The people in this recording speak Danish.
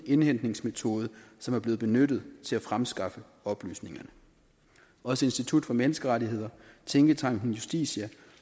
indhentningsmetode som er blevet benyttet til at fremskaffe oplysningerne også institut for menneskerettigheder tænketanken justitia